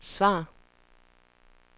svar